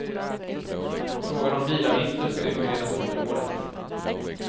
Frågan om bilavgifter ska utredas under året.